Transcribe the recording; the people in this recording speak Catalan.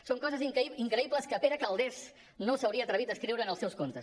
són coses increïbles que pere calders no s’hauria atrevit a escriure en els seus contes